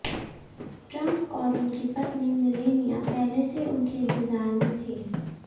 Trump और उनकी पत्नी मिलेनिया पहले से उनके इंतजार में थे